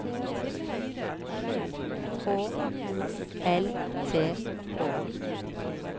H O L T H